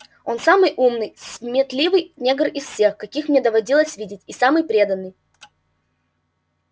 он самый умный сметливый негр из всех каких мне доводилось видеть и самый преданный